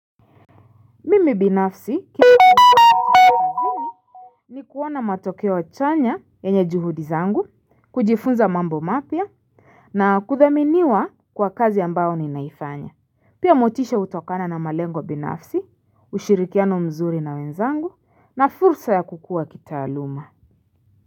Mimi binafsi ni kuona matokeo chanya yenye juhudi zangu, kujifunza mambo mapya, na kuthaminiwa kwa kazi ambao ninaifanya. Pia motisha hutokana na malengo binafsi, ushirikiano mzuri na wenzangu, na fursa ya kukuwa kitaaluma.